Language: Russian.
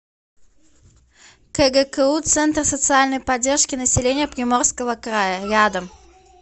кгку центр социальной поддержки населения приморского края рядом